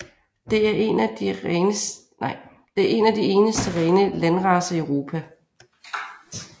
Det er en af de eneste rene landracer i Europa